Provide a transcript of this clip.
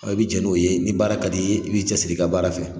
i bɛ jɛn n'u ye ni baara ka d'i ye i b'i cɛsiri i ka baara fɛ.